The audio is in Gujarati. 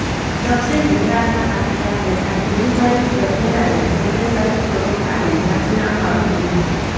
દક્ષિણ ગુજરાતના પાટીદાર નેતા ધિરુભાઈ ગજેરાએ કોગ્રેસ સાથે છેડો ફાડી રાજીનામું આપી દીધુ છે